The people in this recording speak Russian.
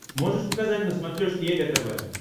можешь показать на смотрешке егэ тв